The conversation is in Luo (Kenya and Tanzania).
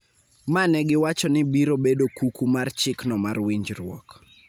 ma ne giwacho ni biro bedo kuku mar chikno mar winjruok